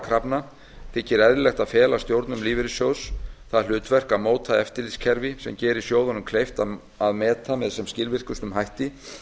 krafna þykir eðlilegt að fela stjórnum lífeyrissjóða það hlutverk að móta eftirlitskerfi sem geri sjóðnum kleift að meta með sem skilvirkustum hætti